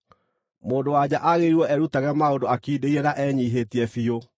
Mũndũ-wa-nja aagĩrĩirwo erutage maũndũ akindĩirie na enyiihĩtie biũ.